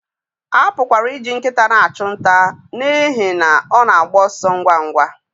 A pụkwara iji nkịta na-achụ nta n'ihi na ọ na-agba ọsọ ngwa ngwa